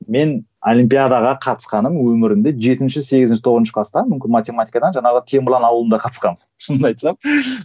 мен олимпиадаға қатысқаным өмірімде жетінші сегізінші тоғызыншы класта мүмкін математикадан жаңағы темірлан ауылында қатысқанмын шынымды айтсам